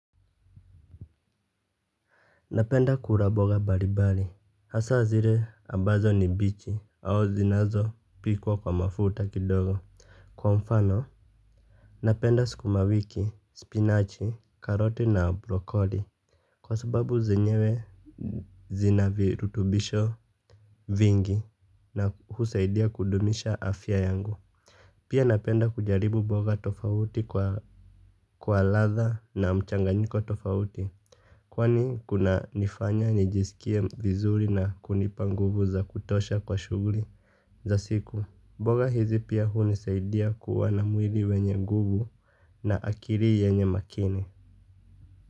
Napenda kula mboga mbalimbali hasa zile ambazo ni bichi au zinazopikwa kwa mafuta kidogo. Kwa mfano, napenda sukuma wiki, spinachi, karoti na brokoli. Kwa sababu zenyewe zina virutubisho vingi na husaidia kudumisha afya yangu. Pia napenda kujaribu mboga tofauti kwa ladha na mchanganyiko tofauti. Kwani kunanifanya nijisikie vizuri na kunipa nguvu za kutosha kwa shughuli za siku. Mboga hizi pia hunisaidia kuwa na mwili wenye nguvu na akili yenye makini.